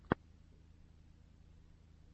яна ченнал в ютьюбе